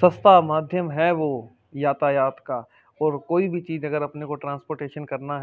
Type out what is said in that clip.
सस्ता माध्यम है वो यातायात का और कोई भी चीज अगर अपने को ट्रांसपोर्टेशन करना है --